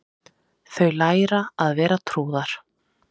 Þau læra að vera trúðar